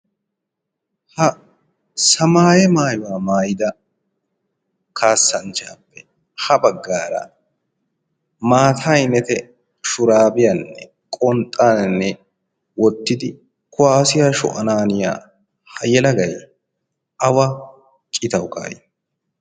ha samaayaw maayuwa maayyidi kaassanchchappe ha baggara maata ayinete shurabiyanne qonxxanne wottidi kuwaassiya sho'ananiyaa ha yelagay awa citaw kaa'i?